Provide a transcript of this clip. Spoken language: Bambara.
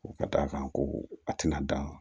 Ka d'a kan ko a tɛna dan